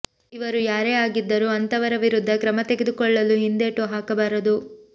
ಇವರು ಯಾರೇ ಆಗಿದ್ದರೂ ಅಂಥವರ ವಿರುದ್ಧ ಕ್ರಮ ತೆಗೆದುಕೊಳ್ಳಲು ಹಿಂದೇಟು ಹಾಕಬಾರದು